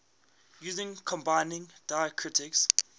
using combining diacritics